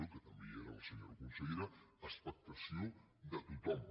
que també hi era la senyora consellera expectació de tothom